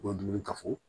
U ka dumuni ka fɔ